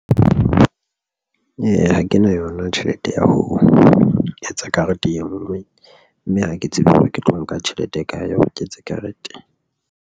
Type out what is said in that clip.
Ha ke na yona tjhelete ya ho etsa karete e nngwe mme ha ke tsebe hore ke tlo nka tjhelete e kae hore ke etse karete.